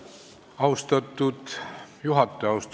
Austatud juhataja!